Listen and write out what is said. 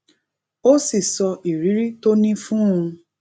ó sì sọ ìrírí tó ní fún un